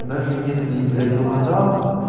даже если и блять угадал